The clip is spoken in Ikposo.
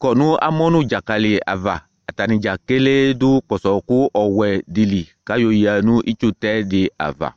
kɔ nʋ amɔ nʋ ɖzaƙalɩ avaAtanɩ ɖzaƙelee ɖʋ ƙpɔsɔ ɔƙʋ wɛ ɖɩ li ƙʋ aƴɔ ƴǝ nʋ itsutɛ ɖɩ ava